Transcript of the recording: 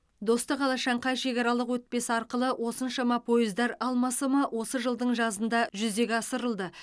достық алашаңқай шекаралық өтпесі арқылы осыншама пойыздар алмасымы осы жылдың жазында жүзеге асырылды